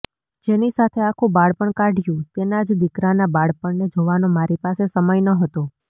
જેની સાથે આખું બાળપણ કાઢયું તેના જ દીકરાના બાળપણને જોવાનો મારી પાસે સમય ન હતો